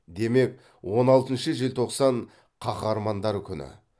демек он алтыншы желтоқсан қаһармандар күні